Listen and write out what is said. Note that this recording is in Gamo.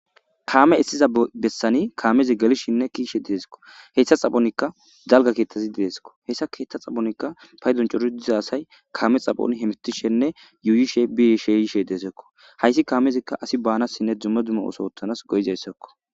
Kaame issiza bessani kaamezi galishinne kiishe dideskko heththa xaphonikka jalga keeththazi didesekko hessa keeththa xaphonikka fay doncoru diza asay kaame xaphon hemitishenne yuuyishe biyishe yishe deesekko hayssi kaamezikka asi baanasinne dzumme dzummo oso wothanas goyizayssakko.